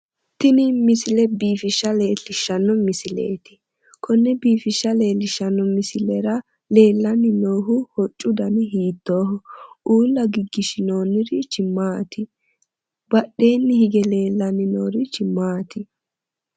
Tini misile biifishsha leellishshanno misileeti konne biifishsha leellishshanno misilera leellanni noohu hoccu dani hiittooho? uulla gigishinoonnirichi maati? Badheenni higge leellanni noorichi maati?